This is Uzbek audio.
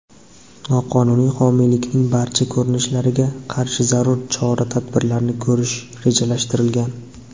noqonuniy homiylikning barcha ko‘rinishlariga qarshi zarur chora-tadbirlarni ko‘rish rejalashtirilgan.